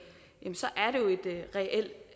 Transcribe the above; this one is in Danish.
så